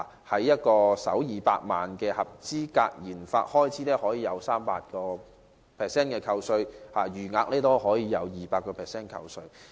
例如首200萬元合資格研發開支可獲 300% 扣稅，餘額則獲 200% 扣稅。